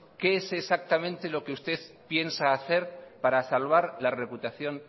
qué es exactamente lo que usted piensa hacer para salvar la reputación